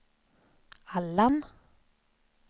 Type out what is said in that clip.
Allan